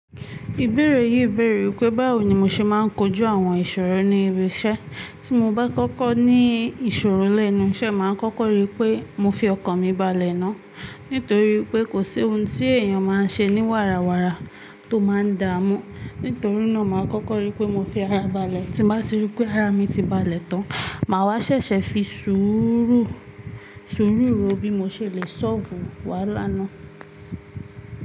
Ìbéèrè yìí béèrè wípé báwo ni mo ṣe máa ń kojú àwọn ìṣòro ní ibi iṣẹ́. Tí mo bá kọ́kọ́ ní ìṣòro lẹ́nu iṣẹ́, màá kọ́kọ́ rí pé mo fi ọkàn mi balẹ̀ náà. Nítorí pé kò sí ohun tí èèyàn máa ń ṣe ní wàràwàrà tó máa ń da mú. Nítorí náà, màá kọ́kọ́ rí pé mo fi ara balẹ̀. Tí bá ti rí pé ara mi ti balẹ̀ tán, màá wá ṣẹ̀ṣẹ̀ fi sùúrù, sùúrù ro bí mo ṣe le ṣọ́fù wá lánàá.